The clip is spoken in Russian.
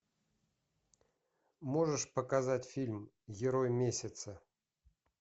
можешь показать фильм герой месяца